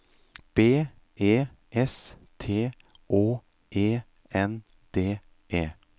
B E S T Å E N D E